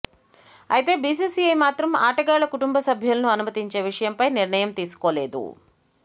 అయితే బీసీసీఐ మాత్రం ఆటగాళ్ల కుటుంబ సభ్యులను అనుమతించే విషయంపై నిర్ణయం తీసుకోలేదు